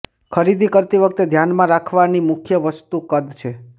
ખરીદી કરતી વખતે ધ્યાનમાં રાખવાની મુખ્ય વસ્તુ કદ છે